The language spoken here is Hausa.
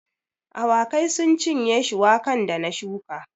Awakai sun cinye shuwakan da na shuka